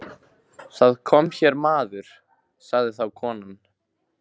Það kom hér maður, sagði þá konan.